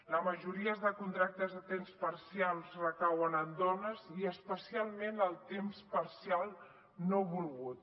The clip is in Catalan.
la majoria de contractes a temps parcial recauen en dones i especialment el temps parcial no volgut